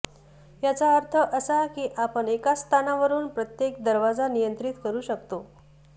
याचा अर्थ असा की आपण एकाच स्थानावरून प्रत्येक दरवाजा नियंत्रित करू शकता